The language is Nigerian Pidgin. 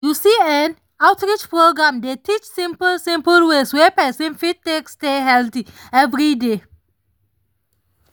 you see[um]outreach programs dey teach simple simple ways wey person fit take stay healthy every day